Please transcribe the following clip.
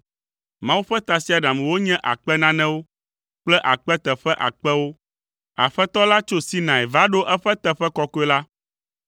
Mawu ƒe tasiaɖamwo nye akpe nanewo kple akpe teƒe akpewo; Aƒetɔ la tso Sinai va ɖo eƒe teƒe kɔkɔe la.